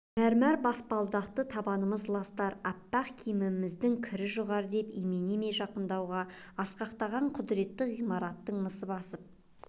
мәрмәр баспалдақты табанымыз ластар аппақ киімміздің кір жұғар деп имене ме жақындауға асқақтаған құдретті ғимараттың мысы басып